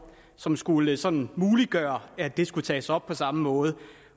som skulle sådan muliggøre at det skulle tages op på samme måde